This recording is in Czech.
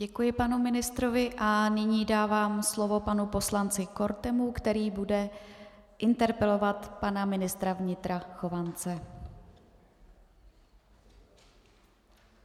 Děkuji panu ministrovi a nyní dávám slovo panu poslanci Kortemu, který bude interpelovat pana ministra vnitra Chovance.